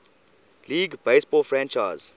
league baseball franchise